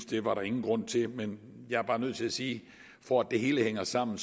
det var der ingen grund til men jeg er bare nødt til at sige for at det hele hænger sammen